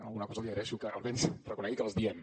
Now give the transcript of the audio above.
alguna cosa li agraeixo que almenys reconegui que les diem